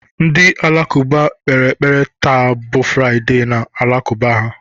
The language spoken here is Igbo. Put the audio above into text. Ndị Alakụba kpere ekpere taa bụ Fraịdee na ụlọ Alakụba ha.